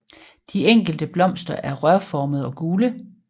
De enkelte blomster er rørformede og gule